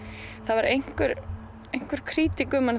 var einhver einhver krítík um hana